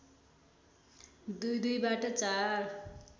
दुई दुईबाट चार